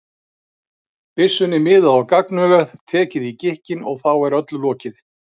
byssunni miðað á gagnaugað, tekið í gikkinn, og þá er öllu lokið.